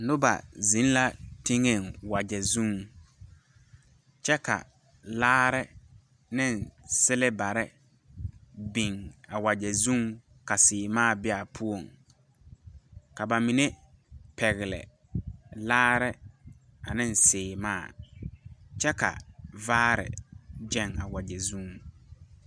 Noba zeŋ la teŋɛŋ wagyɛ zuŋ kyɛ ka laare neŋ silbarre biŋ a wagyɛ zuŋ ka sèèmaa bee aa poɔŋ ka ba mine pɛgle laare aneŋ sèèmaa kyɛ ka vaare gyɛŋ a wagyɛ zuŋ.